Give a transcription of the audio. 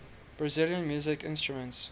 brazilian musical instruments